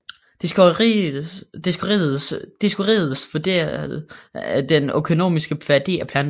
Dioskorides vurderede den økonomiske værdi af planter